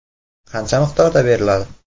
Qancha miqdorda beriladi?